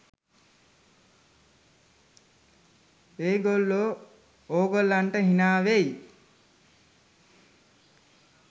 ඒ ගොල්ලෝ ඕගොල්ලන්ට හිනා වෙයි